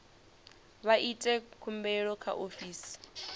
vha ite khumbelo kha ofisi